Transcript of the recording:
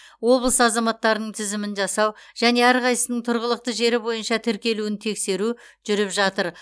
облыс азаматтарының тізімін жасау және әрқайсысының тұрғылықты жері бойынша тіркелуін тексеру жүріп жатыр